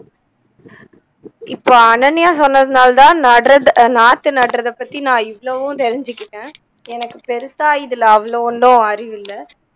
இப்போ அனன்யா சொன்னதுனால தான் நட்றது நாத்து நட்றத பத்தி நா இவ்வளவும் தெரிஞ்சுக்கிட்டேன் எனக்கு பெருசா இதுல அவ்வளோ ஒன்னும் அறிவு இல்ல